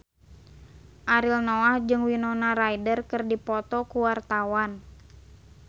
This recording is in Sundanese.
Ariel Noah jeung Winona Ryder keur dipoto ku wartawan